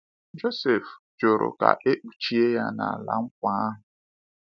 Jọsif jụrụ ka e kpuchie ya n’ala nkwa ahụ.